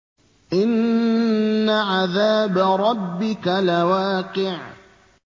إِنَّ عَذَابَ رَبِّكَ لَوَاقِعٌ